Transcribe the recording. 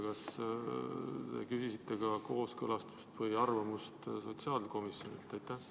Kas küsisite ka kooskõlastust või arvamust sotsiaalkomisjonilt?